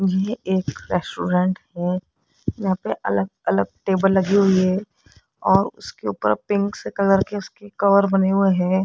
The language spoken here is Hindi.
ये एक रेस्टोरेंट है यहां पे अलग अलग टेबल लगी हुई है और उसके ऊपर पिंक से कलर की उसकी कवर बने हुए है।